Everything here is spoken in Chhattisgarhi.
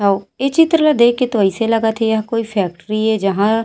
इये चित्र ला देख के तो अइसे लगत हे यह कोई फैक्ट्री हे जहा --